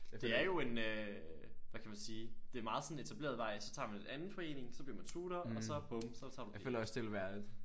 Det er jo en øh hvad kan man sige det er meget sådan etableret vej så tager man en anden forening så bliver man tutor og så bum så tager man det